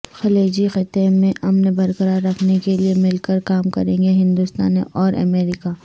خلیجی خطے میں امن برقرار رکھنے کے لئے مل کر کام کریں گے ہندوستان اورامریکہ